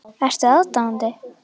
Ertu aðdáandi?